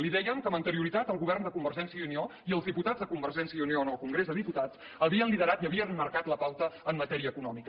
li dèiem que amb anterioritat el govern de convergència i unió i els diputats de convergència i unió en el congrés dels diputats havien liderat i havien marcat la pauta en matèria econòmica